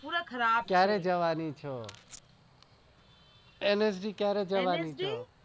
પૂરા ખરાબ છે ક્યારે જવાની છે?